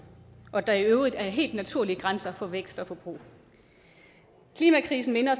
og at der i øvrigt er helt naturlige grænser for vækst og forbrug klimakrisen minder